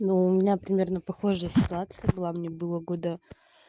но у меня примерно похожая ситуация была мне было года